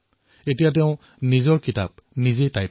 এতিয়া তেওঁ নিজৰ কিতাপ লিখি আছে